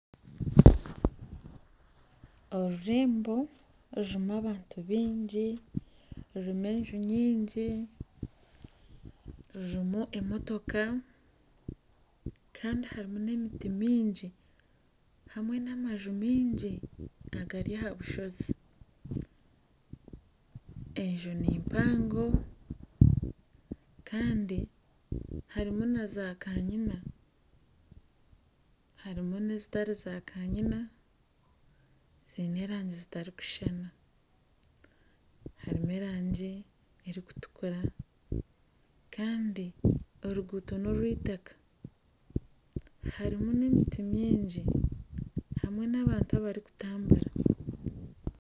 Orurembo rurumu abantu bingi rurumu enju nyingi rurumu emotoka Kandi harumu n'emiti myingi hamwe n'amaju mingi agari aha'bushozi. Enju nimpango kandi harumu na zakanyina harumu nezitari zakanyina zine erangi zitarukushushana harumu erangi erukutukura Kandi oruguuto norw'itaka harumu n'emiti myingi hamwe n'abantu abarukutambura.